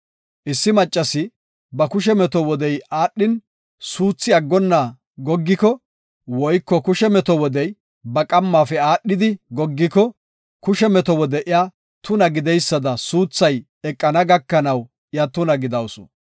“Issi maccasi, ba kushe meto wodey aadhin, suuthi aggonna goggiko woyko kushe meto wodey ba qammafe aadhidi goggiko, kushe meto wode iya tuna gididaysada suuthay eqana gakanaw iya tuna gidawusu.